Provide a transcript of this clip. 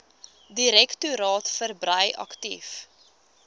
direktoraat verbrei aktief